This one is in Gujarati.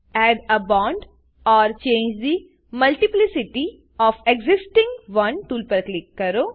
add a bond or change the multiplicity of existing one tool પર ક્લિક કરો